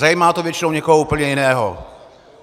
Zajímá to většinou někoho úplně jiného.